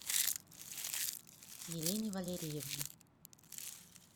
елене валериевне